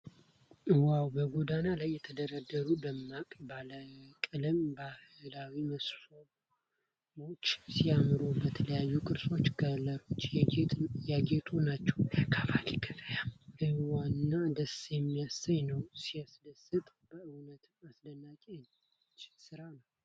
ዋው! በጎዳና ላይ የተደረደሩ ደማቅ ባለቀለም ባህላዊ መሶቦች ሲያምሩ! በተለያዩ ቅርፆችና ከለሮች ያጌጡ ናቸው ። የአካባቢው ገበያ ሕያውና ደስ የሚያሰኝ ነው። ሲያስደስት! በእውነትም አስደናቂ የእጅ ሥራ ነው።